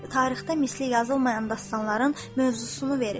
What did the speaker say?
Tarixdə misli yazılmayan dastanların mövzusunu verir.